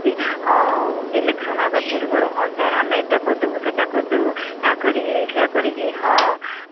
ହଁ election ହବା ପୁର୍ବରୁ ହଁ sir ଆମେ ଏଟା କରିଦବୁ ସେଟା କରିଦବୁ ଏଆ କରିକି ସେଇଆ କରିକି ହଁ